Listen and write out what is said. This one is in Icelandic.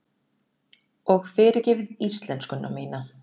Og fyrirgefið íslenskuna mína.